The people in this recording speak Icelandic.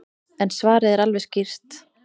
En svarið er alveg skýrt.